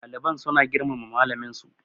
ɗaliban suna girmama malaminsu